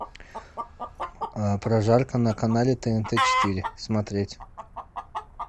прожарка на канале тнт четыре смотреть